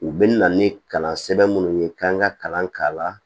U bɛna na ni kalansɛbɛn munnu ye k'an ka kalan k'a la